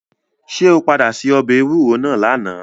Ṣé o padà se ọbẹ̀ ewúro náà lánàá.